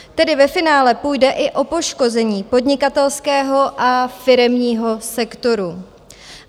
Tedy ve finále půjde i o poškození podnikatelského a firemního sektoru.